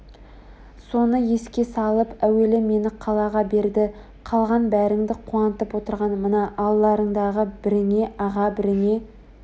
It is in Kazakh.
соны еске салып әуелі мені қала берді қалған бәріңді қуантып отырған мына алдарыңдағы біріңе аға біріңе